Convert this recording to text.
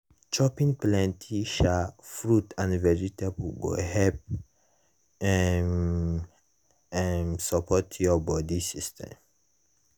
chopping plenty um fruit and vegetables go help um um support your body system.